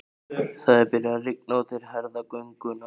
Það er byrjað að rigna og þeir herða gönguna.